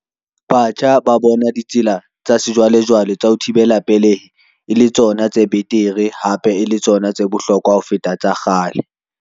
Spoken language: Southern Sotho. Batjha ba bona ditsela tsa sejwalejwale tsa ho thibela pelehi e le tsona tse betere, hape e le tsona tse bohlokwa ho feta tsa kgale.